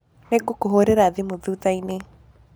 Nĩngũkũhũrĩra thimu thũthaĩnĩ